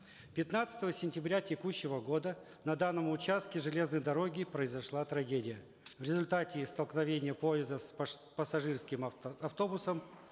пятнадцатого сентября текущего года на данном участке железной дороги произошла трагедия в результате столкновения поезда с пассажирским автобусом